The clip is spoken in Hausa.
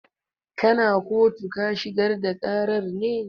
Kana kotu ka shigar da ƙarar ne?